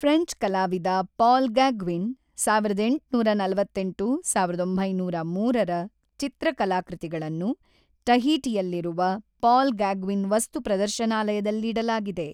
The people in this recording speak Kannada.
ಫ್ರೆಂಚ್ ಕಲಾವಿದ ಪಾಲ್ ಗಾಗ್ವಿನ್ ಸಾವಿರದ ಎಂಟುನೂರ ನಲವತ್ತೆಂಟು. ಸಾವಿರದ ಒಂಬೈನೂರ ಮೂರ ರ ಚಿತ್ರಕಾಲಕೃತಿಗಳನ್ನು ಟಹೀಟಿಯಲ್ಲಿರುವ ಪಾಲ್ ಗಾಗ್ವಿನ್ ವಸ್ತು ಪ್ರದರ್ಶನಾಲಯದಲ್ಲಿಡಲಾಗಿದೆ.